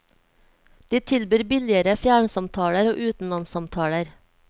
De tilbyr billigere fjernsamtaler og utenlandssamtaler.